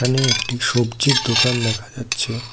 এ একটি সবজির দোকান দেখা যাচ্ছে।